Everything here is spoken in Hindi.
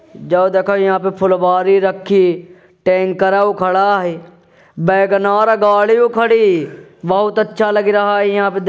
जो देखो यहाँ पे फुलवारी रखी टांकरौ खड़ा हैं बैगनार गाडी खड़ी बहोत अच्छा लग रहा है इहाँ पर--